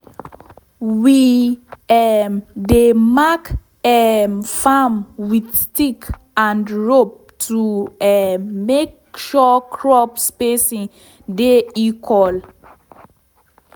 we um dey mark um farm with stick and rope to um make sure crop spacing de equal